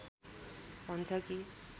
भन्छ कि